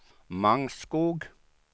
Mangskog